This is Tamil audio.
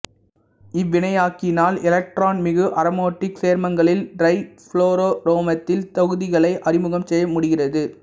இவ்வினையாக்கியினால் எலக்ட்ரான் மிகு அரோமாட்டிக் சேர்மங்களில் டிரைபுளோரோமெத்தில் தொகுதிகளை அறிமுகம் செய்ய முடிகிறது